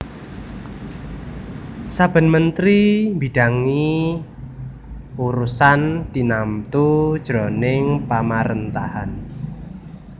Saben mentri mbidangi urusan tinamtu jroning pamaréntahan